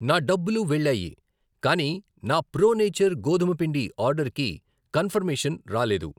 నా డబ్బులు వెళ్ళాయి, కానీ నా ప్రో నేచర్ గోధుమ పిండి ఆర్డర్ కి కన్ఫర్మేషన్ రాలేదు.